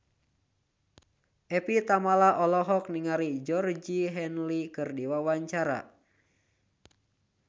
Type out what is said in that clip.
Evie Tamala olohok ningali Georgie Henley keur diwawancara